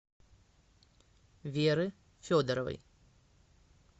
веры федоровой